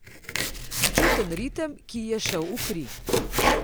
Čuten ritem, ki ji je šel v kri.